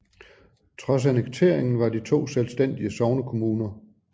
Trods annekteringen var de to selvstændige sognekommuner